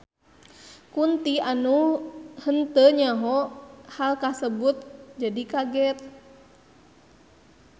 Kunti anu henteu nyaho hal kasebut jadi kaget.